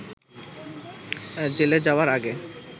জেলে যাওয়ার আগে